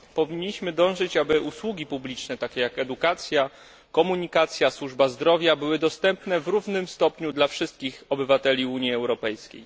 Powinniśmy dążyć do tego, aby usługi publiczne takie jak edukacja, komunikacja, służba zdrowia były dostępne w równym stopniu dla wszystkich obywateli Unii Europejskiej.